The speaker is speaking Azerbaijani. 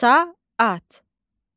Saat.